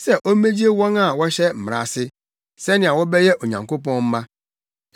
sɛ ommegye wɔn a wɔhyɛ Mmara ase, sɛnea wɔbɛyɛ Onyankopɔn mma.